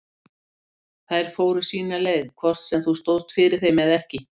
Þær fóru sína leið hvort sem þú stóðst fyrir þeim eða ekki